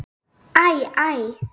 Æ, æ!